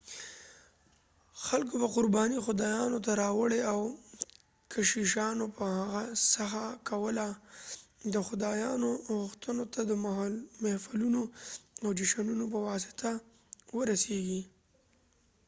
خلکوبه قربانۍ خدایانو ته راوړلي او کشیشانو به هڅه کوله د خدایانو غوښتنو ته د محفلونو او جشنونو په واسطه ورسیږي